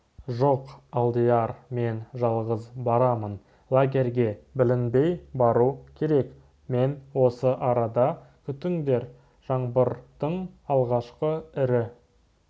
жоқ алдияр мен жалғыз барамын лагерьге білінбей бару керек мені осы арада күтіңдер жаңбырдың алғашқы ірі